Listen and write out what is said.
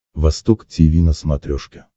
восток тиви на смотрешке